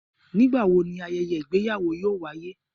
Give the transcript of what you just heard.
Nigbawo ni ayẹyẹ igbeyawo yoo waye?